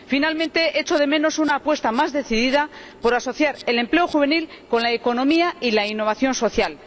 Por último, echo de menos una apuesta más decidida por asociar el empleo juvenil con la economía y la innovación social.